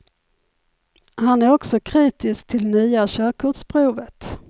Han är också kritisk till nya körkortsprovet.